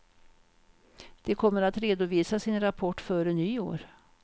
De kommer att redovisa sin rapport före nyår.